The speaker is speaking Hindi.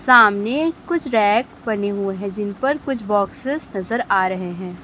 सामने कुछ रैक बने हुए है जिन पर कुछ बॉक्सेस नजर आ रहे है।